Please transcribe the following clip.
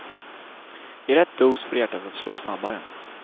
I rätt dos får det hjärtat att slå snabbare.